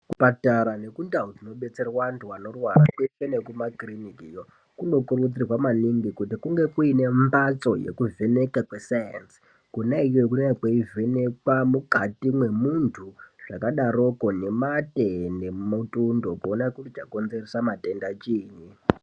Zvipatara nekundau dzinodetserwa antu anorwara kwese nekumakiriniki kwese kunokurudzirwa maningi kunge kuine mbatso dzekuvhenekwa kwesainzi kona iyoyo kunenge kweivhenekwa mukati memuntu zvakadaroko nematenemutundonkuona chakonzeresa matenda chinyi.